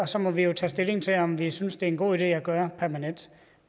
så må vi jo tage stilling til om vi synes det er en god idé at gøre permanent